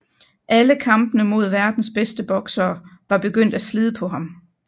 Alle kampene mod verdens bedste boksere var begyndt at slide på ham